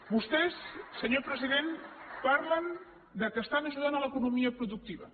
vostès senyor president parlen que estan ajudant l’economia productiva